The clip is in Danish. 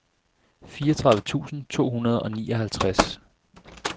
fireogtredive tusind to hundrede og nioghalvtreds